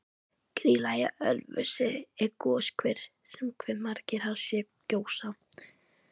Grýla í Ölfusi er goshver sem margir hafa séð gjósa.